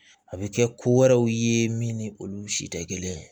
A bɛ kɛ ko wɛrɛw ye min ni olu si tɛ kelen ye